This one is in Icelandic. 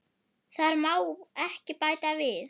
Þar má ekki bæta við.